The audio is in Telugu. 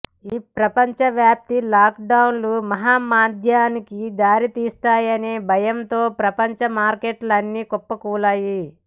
ఈ ప్రపంచవ్యాప్త లాక్డౌన్లు మహా మాంద్యానికి దారి తీస్తాయనే భయాలతో ప్రపంచ మార్కెట్లన్నీ కుప్పకూలాయి